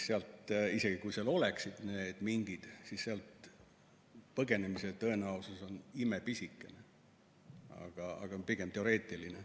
Aga isegi kui seal oleksid mingid, siis sealt põgenemise tõenäosus on imepisikene, see on pigem teoreetiline.